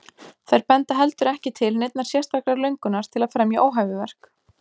Þær benda heldur ekki til neinnar sérstakrar löngunar til að fremja óhæfuverk.